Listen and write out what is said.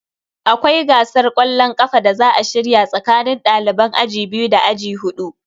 Akwai gasar kwallon kafa da za a shirya tsakanin daliban aji biyu da aji hudu.